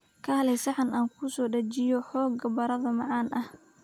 Kaalay saxan aan kuu soo dejiyo xoogaa baradho macaan ah